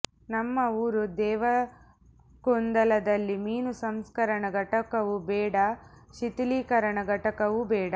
ನಮ್ಮ ಊರು ದೇವಲ್ಕುಂದದಲ್ಲಿ ಮೀನು ಸಂಸ್ಕರಣಾ ಘಟಕವೂ ಬೇಡ ಶಿಥಲೀಕರಣ ಘಟಕವೂ ಬೇಡ